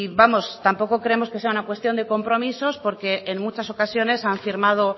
vamos tampoco creemos que sea una cuestión de compromisos porque en muchas ocasiones han firmado